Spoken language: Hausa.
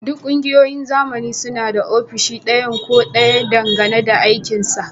Duk ƙungiyoyin zamani suna da ofishi ɗaya ko ɗayan dangane da aikinsa